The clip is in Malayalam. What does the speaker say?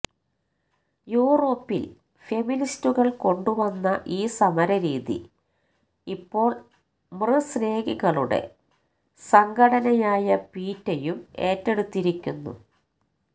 യൂറോപ്പില് ഫെമിനിസ്റ്റുകള് കൊണ്ടുവന്ന ഈ സമരരീതി ഇപ്പോള് മൃസ്നേഹികളുടെ സംഘടനയായ പീറ്റയും ഏറ്റെടുത്തിരിക്കുന്നു